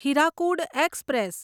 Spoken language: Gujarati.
હીરાકુડ એક્સપ્રેસ